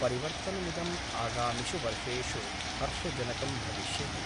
परिवर्तनमिदम् आगामिषु वर्षेषु हर्षजनकं भविष्यति।